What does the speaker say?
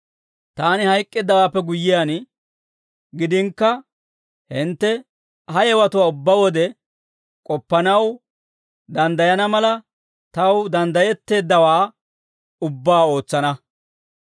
Taani hayk'k'eeddawaappe guyyiyaan gidinakka, hintte ha yewatuwaa ubbaa wode k'oppanaw danddayana mala, taw danddayetteeddawaa ubbaa ootsana.